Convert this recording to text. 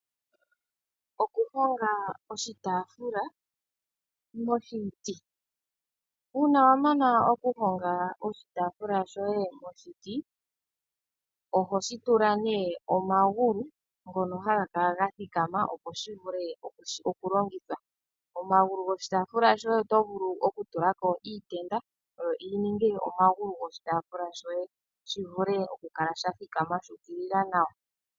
Okuhonga oshitaafula moshiti. Uuna wa mana okuhonga oshitaafula shoye moshiti oho shi tula nee omagulu ngono haga kala gathikama opo shivule okulongithwa. Omagulu goshitaafula shoye oto vulu okutulako iitenda yininge omagulu goshitaafula shoye shivule okukala shathikama shuukilila nawa.